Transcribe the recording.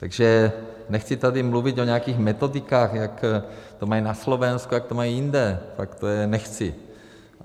Takže nechci tady mluvit o nějakých metodikách, jak to mají na Slovensku, jak to mají jinde, tak to já nechci.